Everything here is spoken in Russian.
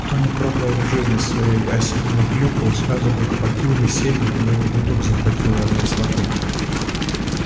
кто не пробовал в жизни своей осеннюю клюкву и сразу бы хватил весенней у него бы дух захватило от кислоты